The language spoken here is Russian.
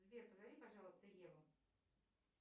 сбер позови пожалуйста еву